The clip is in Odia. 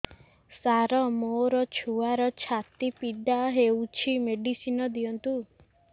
ସାର ମୋର ଛୁଆର ଛାତି ପୀଡା ହଉଚି ମେଡିସିନ ଦିଅନ୍ତୁ